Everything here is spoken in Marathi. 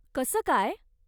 कसं काय?